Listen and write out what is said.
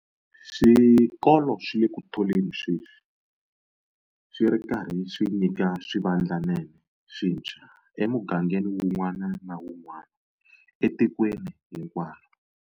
Swikolo swi le ku tholeni sweswi, swi ri karhi swi nyika swivandlanene swintshwa emugangeni wun'wana na wun'wana etikweni hinkwaro.